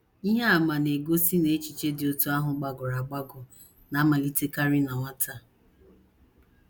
Ihe àmà na - egosi na echiche dị otú ahụ gbagọrọ agbagọ na - amalitekarị na nwata.